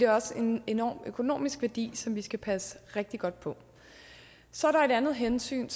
har også en enorm økonomisk værdi som vi skal passe rigtig godt på så er der et andet hensyn